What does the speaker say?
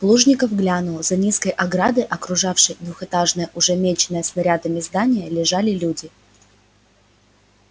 плужников глянул за низкой оградой окружавшей двухэтажное уже меченное снарядами здание лежали люди